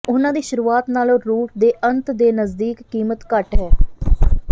ਉਹਨਾਂ ਦੀ ਸ਼ੁਰੂਆਤ ਨਾਲੋਂ ਰੂਟ ਦੇ ਅੰਤ ਦੇ ਨਜ਼ਦੀਕ ਕੀਮਤ ਘੱਟ ਹੈ